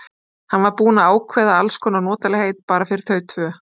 Hann var búinn að ákveða alls konar notalegheit bara fyrir þau tvö.